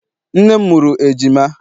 nne m mụrụ ejima.